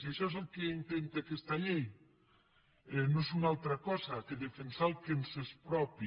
i això és el que intenta aquesta llei no és una altra cosa que defensar el que ens és propi